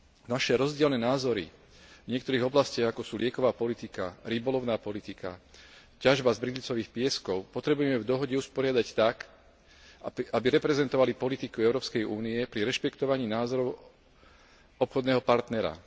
Naše rozdielne názory v niektorých oblastiach, ako sú lieková politika, rybolovná politika, ťažba z bridlicových pieskov, potrebujeme v dohode usporiadať tak, aby reprezentovali politiku Európskej únie pri rešpektovaní názorov obchodného partnera.